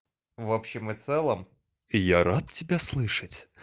в общем и целом я рад тебя слышать